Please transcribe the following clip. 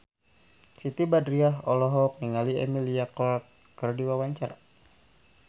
Siti Badriah olohok ningali Emilia Clarke keur diwawancara